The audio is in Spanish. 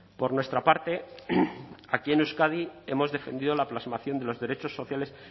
por nuestra parte aquí en euskadi hemos defendido la plasmación de los derechos sociales